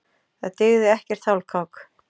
Það dygði ekkert hálfkák.